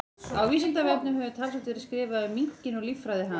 Á Vísindavefnum hefur talsvert verið skrifað um minkinn og líffræði hans.